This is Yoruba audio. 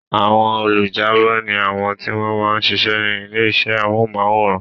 Àwọn olùjábọ̀ ni àwọn tí wọ́n ma ń sisẹ́ ní ilé iṣẹ́ amóhùnmáwòrán